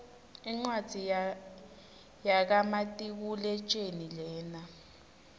incwadzi yaka matekuletjelii lena